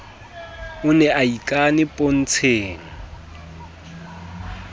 o ne a ikane pontsheng